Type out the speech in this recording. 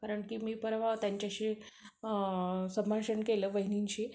कारण मी पर्वा त्यांच्याशी संभाषण केलं, वहीनींशी